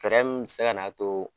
Fɛrɛ mu be se ka na to